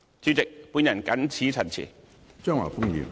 主席，我謹此陳辭。